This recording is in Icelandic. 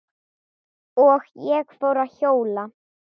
Og ég fór að hjóla.